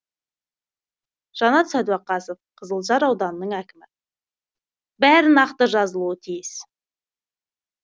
жанат сәдуақасов қызылжар ауданының әкімі бәрі нақты жазылуы тиіс